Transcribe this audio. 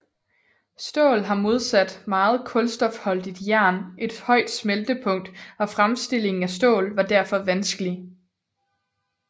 Stål har modsat meget kulstofholdigt jern et højt smeltepunkt og fremstillingen af stål var derfor vanskelig